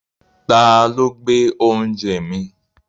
Ta ló gbé oúnjẹ mi?